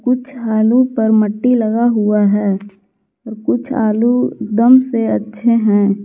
कुछ आलू पर मट्टी लगा हुआ है कुछ आलू एकदम से अच्छे हैं।